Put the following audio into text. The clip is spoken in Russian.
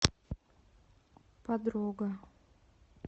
подруга